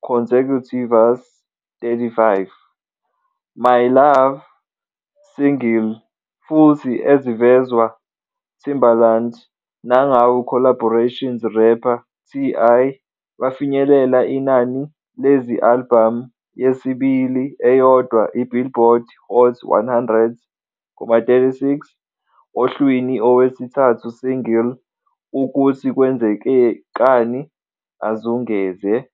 consecutivas.35 "My Love," single, futhi ezivezwa Timbaland nangawo collaborations rapper TI, bafinyelela inani lezi-albhamu yesibili eyodwa Billboard Hot 100,36 ohlwini owesithathu single "Ukuthi kwenzekani azungeze.